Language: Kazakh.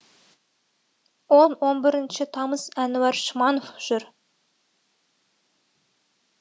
он он бірінші тамыз әнуар шманов жүр